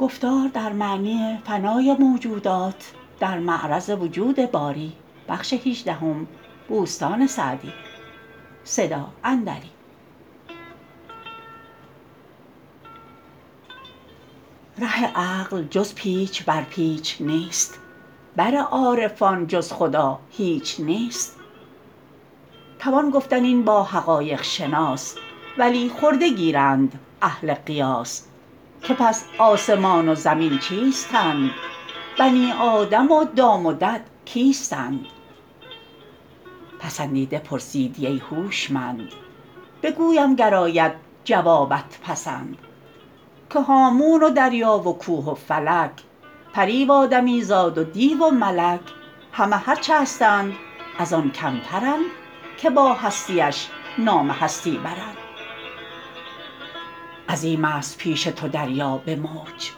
ره عقل جز پیچ بر پیچ نیست بر عارفان جز خدا هیچ نیست توان گفتن این با حقایق شناس ولی خرده گیرند اهل قیاس که پس آسمان و زمین چیستند بنی آدم و دام و دد کیستند پسندیده پرسیدی ای هوشمند بگویم گر آید جوابت پسند که هامون و دریا و کوه و فلک پری و آدمی زاد و دیو و ملک همه هرچه هستند از آن کمترند که با هستیش نام هستی برند عظیم است پیش تو دریا به موج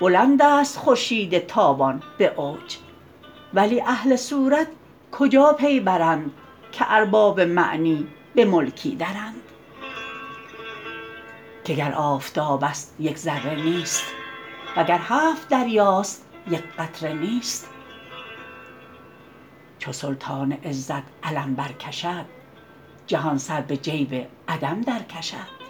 بلند است خورشید تابان به اوج ولی اهل صورت کجا پی برند که ارباب معنی به ملکی درند که گر آفتاب است یک ذره نیست وگر هفت دریاست یک قطره نیست چو سلطان عزت علم بر کشد جهان سر به جیب عدم در کشد